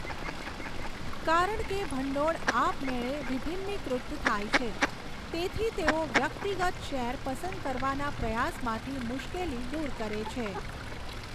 કારણ કે ભંડોળ આપમેળે વિભીન્નીકૃત થાય છે, તેથી તેઓ વ્યક્તિગત શેર પસંદ કરવાના પ્રયાસમાંથી મુશ્કેલી દૂર કરે છે.